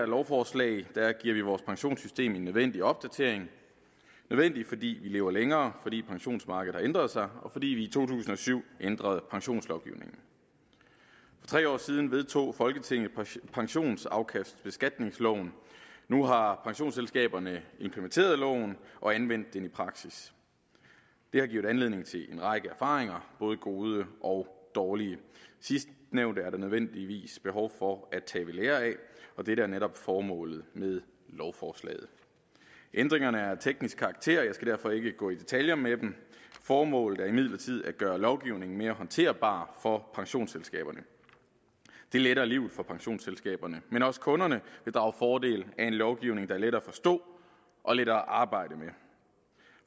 lovforslag giver vi vores pensionssystem en nødvendig opdatering nødvendig fordi vi lever længere fordi pensionsmarkedet har ændret sig og fordi vi i to tusind og syv ændrede pensionslovgivningen for tre år siden vedtog folketinget pensionsafkastbeskatningsloven nu har pensionsselskaberne implementeret loven og anvendt den i praksis det har givet anledning til en række erfaringer både gode og dårlige sidstnævnte er der nødvendigvis behov for at tage ved lære af og dette er netop formålet med lovforslaget ændringerne er af teknisk karakter og jeg skal derfor ikke gå i detaljer med dem formålet er imidlertid at gøre lovgivningen mere håndterbar for pensionsselskaberne det letter livet for pensionsselskaberne men også kunderne vil drage fordel af en lovgivning der er lettere at forstå og lettere at arbejde med